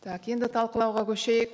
так енді талқылауға көшейік